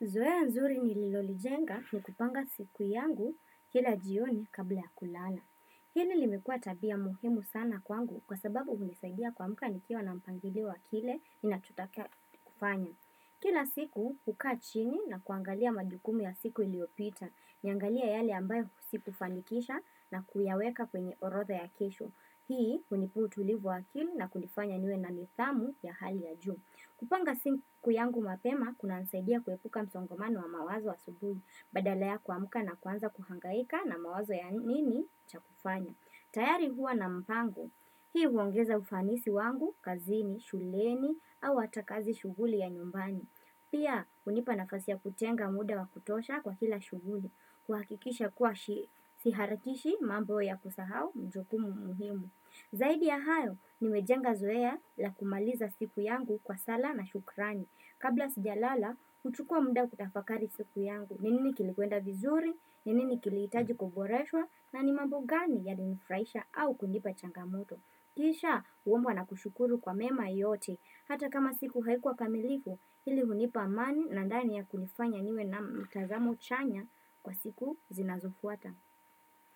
Zoea nzuri nililolijenga ni kupanga siku yangu kila jioni kabla ya kulala. Hili limekuwa tabia muhimu sana kwangu kwa sababu hunisaidia kuamka nikiwa na mpangilio wa kile nachotaka kufanya. Kila siku hukaa chini na kuangalia majukumu ya siku iliyopita. Niangalie yale ambayo sikufanikisha na kuyaweka kwenye orodha ya kesho. Hii hunipea utulivu wa akili na kunifanya niwe na nidhamu ya hali ya juu. Kupanga siku yangu mapema, kunanisaidia kuepuka msongomano wa mawazo asubuhi, badala ya kuamuka na kuanza kuhangaika na mawazo ya nini cha kufanya. Tayari huwa na mpango, hii huongeza ufanisi wangu, kazini, shuleni, au hata kazi shughuli ya nyumbani. Pia, hunipa nafasi ya kutenga muda wa kutosha kwa kila shuguli, kuhakikisha kuwa siharakishi mambo ya kusahau mjukumu muhimu. Zaidi ya hayo nimejenga zoea la kumaliza siku yangu kwa sala na shukrani. Kabla sijalala, huchukua muda kutafakari siku yangu. Ni nini kilikwenda vizuri, nini ni kilihitaji kuboreswa na ni mambo gani yalinifurahisha au kunipa changamoto. Kisha huombwa na kushukuru kwa mema yote. Hata kama siku haikuwa kamilifu, hili hunipa amani na ndani ya kunifanya niwe na mtazamo chanya kwa siku zinazofuata.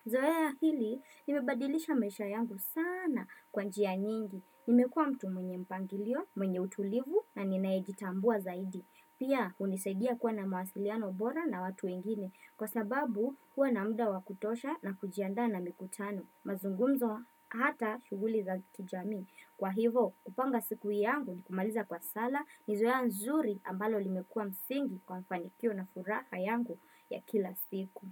Zoea hili limebadilisha maisha yangu sana kwa njia nyingi. Nimekuwa mtu mwenye mpangilio, mwenye utulivu na nimejitambua zaidi. Pia hunisaidia kuwa na mawasiliano bora na watu wengine. Kwa sababu huwa na muda wa kutosha na kujiandaa na mikutano. Mazungumzo hata shughuli za kijamii. Kwa hivo kupanga siku yangu ni kumaliza kwa sala ni zoea nzuri ambalo limekuwa msingi kwa mafanikio na furaha yangu ya kila siku.